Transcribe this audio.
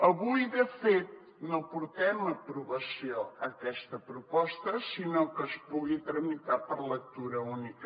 avui de fet no portem a aprovació aquesta proposta sinó que es pugui tramitar per lectura única